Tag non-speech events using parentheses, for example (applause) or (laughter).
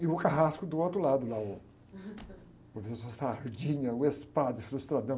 E o carrasco do outro lado, lá, o professor, (unintelligible) o ex-padre frustradão.